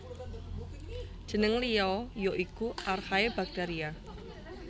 Jeneng liya ya iku Archaebacteria